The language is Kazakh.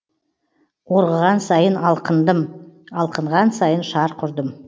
орғыған сайын алқындым алқынған сайын шарқ ұрдым